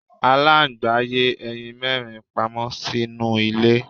Aláǹgbá yé ẹyin mẹ́rin pamọ́ sínú ilẹ̀.